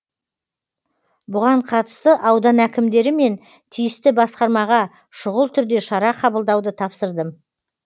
бұған қатысты аудан әкімдері мен тиісті басқармаға шұғыл түрде шара қабылдауды тапсырдым